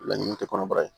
Laɲini tɛ kɔnɔbara ye